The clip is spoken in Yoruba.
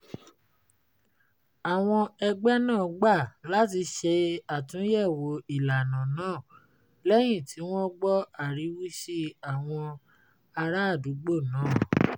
àwọn ẹgbẹ́ náà gbà láti ṣe ṣàtúnyẹ̀wò ìlànà náà lẹ́yìn tí wọ́n gbọ́ ariwisi àwọn ará àdúgbò naa